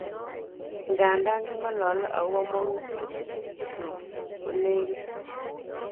Ingandan kingolole okobo mokutik kyuk ko nekit."